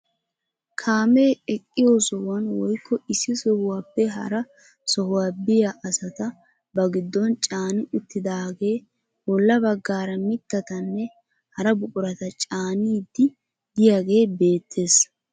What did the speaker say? Kaamee eqqiyo sohuwaan woykko issi sohuwaappe hara sohuwaa biyaa asata ba giddon caani uttidagee bolla baggaara mittatanne hara buqurata caaniidi de'iyaagee beettees.